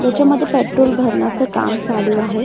त्याच्यामध्ये पेट्रोल भरण्याच काम चालू आहे.